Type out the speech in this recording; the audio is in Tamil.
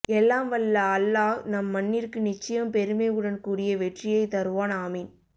எல்லாம் வல்ல அல்லாஹ் நம் மண்ணிற்கு நிச்சயம் பெருமை உடன் கூடிய வெற்றியை தருவான் ஆமீன்